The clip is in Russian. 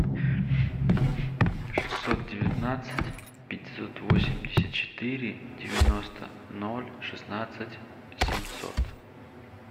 шестьсот девятнадцать пятьсот восемьдесят четыре девяносто ноль шестнадцать семьсот